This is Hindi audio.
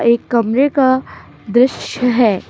एक कमरे का द्रश्य है।